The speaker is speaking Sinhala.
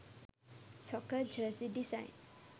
soccer jersey design